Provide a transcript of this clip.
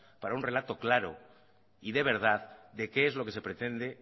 para un relato claro y de verdad de que es lo que se pretende